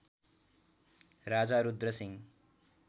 Raja Rudra Singh